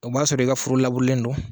O b'a sɔrɔ i ka furu laburelen don